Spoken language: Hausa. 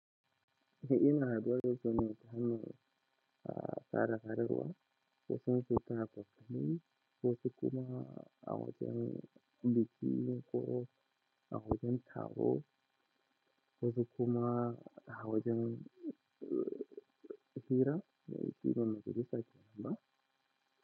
Ina da wasu neka mai, aa, sararewa, wasu suna kwatami, wasu kuma a wajen biki ko a wajen taro, wasu kuma a wajen, uh, hira, shine majalisa kenan.